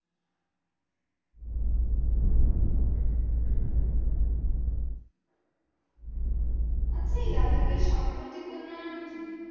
আচ্ছা, এই লাদাখের সাম্প্রতিক উন্নয়ন কি?